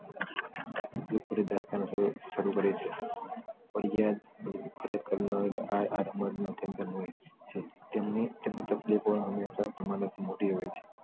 શરુ કરે છે ફરિયાદ કરનારો હોય છે તેમની તેમના તકલીફો ને હંમેશા મોટી હોય છે